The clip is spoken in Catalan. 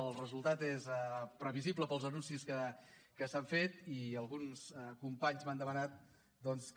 el resultat és previsible pels anuncis que s’han fet i alguns companys m’han demanat doncs que